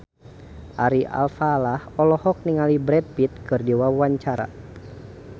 Ari Alfalah olohok ningali Brad Pitt keur diwawancara